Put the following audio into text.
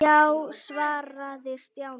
Já svaraði Stjáni.